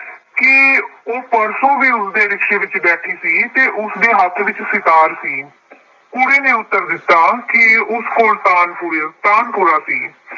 ਕਿ ਉਹ ਪਰਸੋਂ ਵੀ ਉਸਦੇ ਰਿਕਸ਼ੇ ਵਿੱਚ ਬੈਠੀ ਸੀ ਅਤੇ ਉਸਦੇ ਹੱਥ ਵਿੱਚ ਸਿਤਾਰ ਸੀ। ਕੁੜੀ ਨੇ ਉੱਤਰ ਦਿੱਤਾ ਕਿ ਉਸ ਕੋਲ ਤਾਨਪੁਰੀਆ, ਤਾਨਪੁਰਾ ਸੀ।